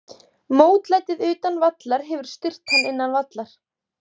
Mótlætið utan vallar hefur styrkt hann innan vallar.